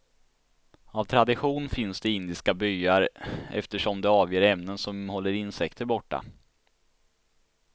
Av tradition finns det i indiska byar eftersom det avger ämnen som håller insekter borta.